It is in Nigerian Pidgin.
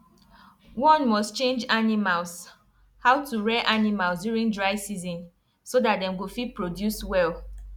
one must change animals how to rear animals during dry season so that dem go fit produce well